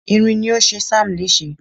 irin ni o ṣe sam lese